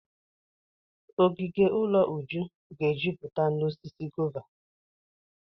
Ogige ụlọ Uju ga-ejupụta n'osisi gova.